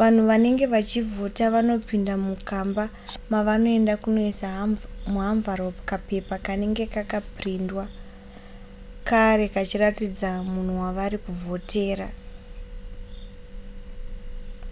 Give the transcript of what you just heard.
vanhu vanenge vachivhota vanopinda mukamba mavanoenda kunoisa muhamvuropu kapepa kanenge kakaprindwa kare kachiratidza munhu wavari kuvhotera